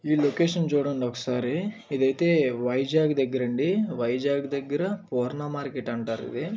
ఈ లొకేషన్ చూడండి ఒకసారి ఇది అయితే వైజాగ్ దగ్గర అండి. వైజాగ్ దగ్గర పూర్ణ మార్కెట్ అంటారు ఇది.